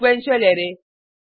sequential array